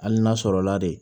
Hali n'a sɔrɔ la de